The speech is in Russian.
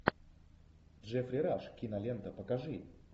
джеффри раш кинолента покажи